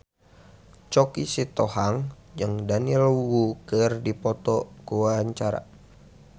Choky Sitohang jeung Daniel Wu keur dipoto ku wartawan